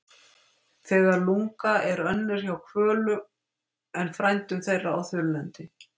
Lega lungna er önnur hjá hvölum en frændum þeirra á þurrlendi.